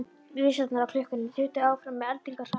Vísarnir á klukkunni þutu áfram með eldingarhraða.